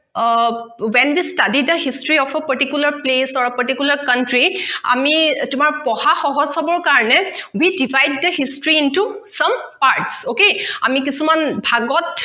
O when the study the history of a particular place or particular country আমি তোমাৰ পঢ়া সহজ হবৰ কাৰণে we devices the history into some parts okay আমি কিছুমান ভাগত